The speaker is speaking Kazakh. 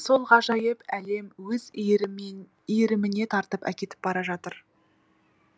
сол ғажайып әлем өз иіріміне тартып әкетіп бара жатыр